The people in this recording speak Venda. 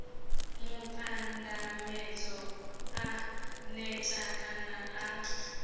mupandamedzi a neta kana a